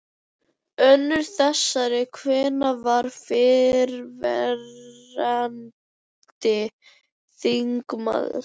Önnur þessara kvenna var fyrrverandi þingmaður.